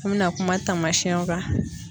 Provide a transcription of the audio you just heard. An bɛna kuma taamasiyɛnw kan.